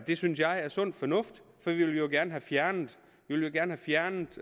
det synes jeg er sund fornuft for vi vil jo gerne have fjernet fjernet